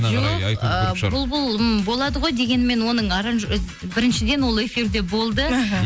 жоқ ыыы бұлбұл болады ғой дегенімен оның біріншіден ол эфирде болды іхі